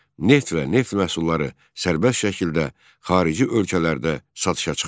Neft və neft məhsulları sərbəst şəkildə xarici ölkələrdə satışa çıxarıldı.